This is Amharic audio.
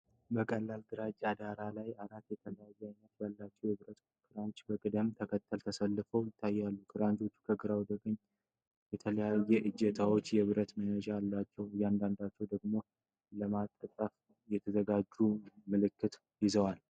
በቀላል ግራጫ ዳራ ላይ አራት የተለያዩ አይነቶች ያላቸው የብረት ክራንች በቅደም ተከተል ተሰልፈው ይታያሉ። ክራንቾቹ ከግራ ወደ ቀኝ የተለያዩ እጀታዎችና የብብት መያዣዎች አላቸው፤ አንዳንዶቹ ደግሞ ለማጣጠፍ የተዘጋጁ መልክ ይዘዋል።